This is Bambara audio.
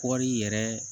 Kɔri yɛrɛ